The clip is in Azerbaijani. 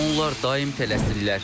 Onlar daim tələsirlər.